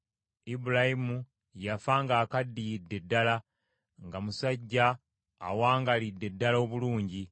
Ibulayimu yafa ng’akaddiyidde ddala, nga musajja awangaalidde ddala obulungi.